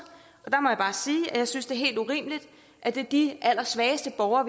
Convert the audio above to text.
og der må jeg bare sige at jeg synes det er helt urimeligt at de allersvageste borgere